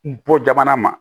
Bɔ jamana ma